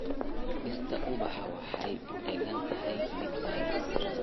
Dhirta ubaxa waxay u egtahay mid wanaagsan.